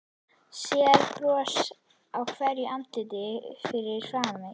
Sér bros á hverju andliti fyrir framan sig.